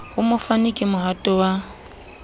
ho mofani ke mohato wa